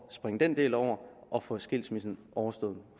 springe den del over og få skilsmissen overstået